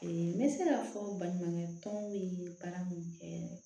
n bɛ se k'a fɔ baɲumankɛ tɔn bɛ baara mun kɛ